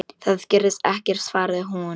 Það gerðist ekkert, svaraði hún.